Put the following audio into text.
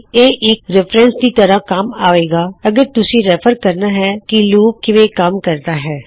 ਇਹ ਇੱਕ ਰੈੱਫ਼ਰਨਸ ਦੀ ਤਰ੍ਹਾ ਵੀ ਕੰਮ ਆਏਗਾ ਅਗਰ ਤੁਸੀ ਰੈੱਫਰ ਕਰਨਾ ਹੈ ਕੀ ਲੂਪ ਕਿਵੇਂ ਕੰਮ ਕਰਦਾ ਹੈ